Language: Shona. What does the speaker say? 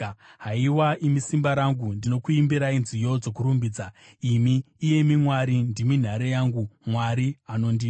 Haiwa imi simba rangu, ndinokuimbirai nziyo dzokukurumbidzai; imi, Mwari, ndimi nhare yangu, Mwari anondida.